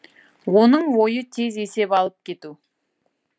оның ойы тез есеп алып кету